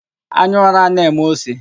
Anya ụra a na-eme ose?